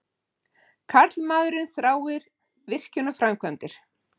Karlmaðurinn þráir virkjunarframkvæmdir.